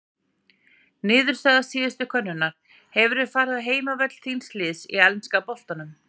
Niðurstaða síðustu könnunar: Hefur þú farið á heimavöll þíns liðs í enska boltanum?